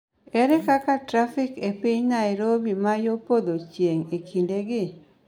Ere kaka trafik e piny Nairobi ma yo podho chieng� e kindegi?